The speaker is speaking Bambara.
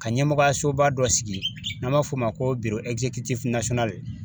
Ka ɲɛmɔgɔyasoba dɔ sigi n'an b'a fɔ o ma ko